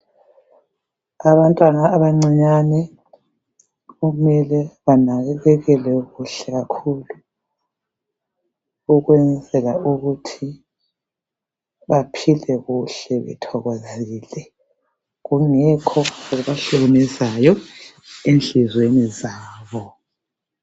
Abantwana abancinyane kumele banakekeleke kuhle kakhulu ukwenzela ukuthi baphile kuhle bethokozile kungekho okubahlukumezayo ezinhlizweni zabo